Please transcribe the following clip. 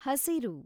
ಹಸಿರು